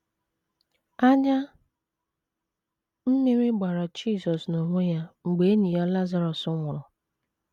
“ Anya mmiri gbara ” Jizọs n’onwe ya mgbe enyi ya Lazarọs nwụrụ.